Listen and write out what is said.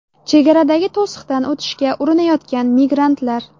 Chegaradagi to‘siqdan o‘tishga urinayotgan migrantlar.